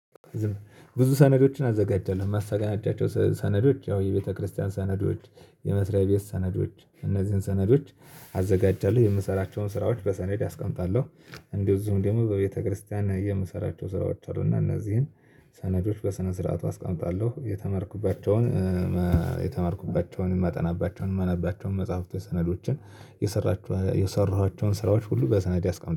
ብዙ ሰነዶችን አዘጋጀለሁ ማሳናዳቸው ሰነዶች ያው የቤተክርስቲያን ሰነዶች የመስሪያ ቤት ሰነዶች እነዚህን ሰነዶች አዘጋጃለሁ የምሰራቸውን ስራዎች በሰነድ አስቀምጣለሁ። እንዚሁው ደግሞ በቤተክርስቲያን የምሰራቸው ስራዎች አሉ እና እነዚህን ሰነዶች በሰነስርዓቱ አስቀምጣለሁ። የተማርኩባቸውን የተማርኩባቸውን የማጠናባቸውን የማነባቸውን መጽሐፍቶች ሰነዶችን የሰራኋቸውን ስራዎች ሁሉ በሰነድ ያስቀምጣል